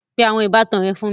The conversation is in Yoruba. Pe àwọn ìbátan rẹ fún mi